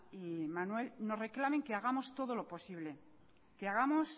y manuel nos reclamen que hagamos todo lo posible que hagamos